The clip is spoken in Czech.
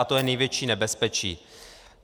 A to je největší nebezpečí.